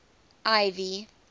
ivy